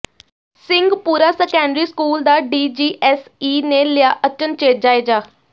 Singhpura secondary school ਦਾ DGSE ਨੇ ਲਿਆ ਅਚਨਚੇਤ ਜਾਇਜ਼ਾ